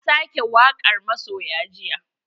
Na sake wakar masoya jiya.